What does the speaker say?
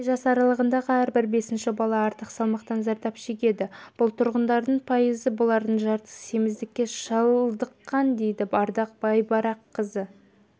және жас аралығындағы әрбір бесінші бала артық салмақтан зардап шегеді бұл тұрғындардың пайызы бұлардың жартысы семіздікке шалдыққан дейді ардақ байбараққызы